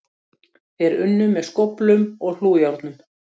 Þeir unnu með skóflum og hlújárnum.